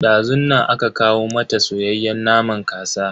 Dazun nan aka kawo mata soyayyen naman kasa.